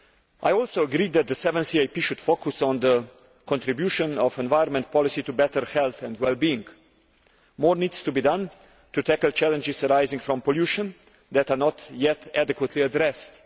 I also agree that the 7th EAP should focus on the contribution of environment policy to better health and wellbeing. More needs to be done to tackle challenges arising from pollution that are not yet being adequately addressed.